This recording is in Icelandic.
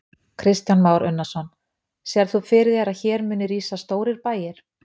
Kristján Már Unnarsson: Sérð þú fyrir þér að hér muni rísa stórir bæir?